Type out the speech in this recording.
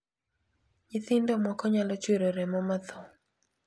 Nyithindo moko nyalo chwero remo ma tho.